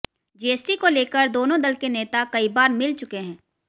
GST को लेकर दोनों दल के नेता कई बार मिल चुके हैं